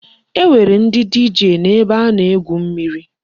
E nwere ndi DJ n'ebe a na-egwu mmiri.